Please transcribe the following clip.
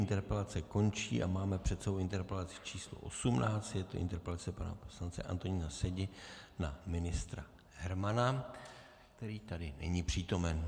Interpelace končí a máme před sebou interpelaci číslo 18, je to interpelace pana poslance Antonína Sedi na ministra Hermana, který tady není přítomen.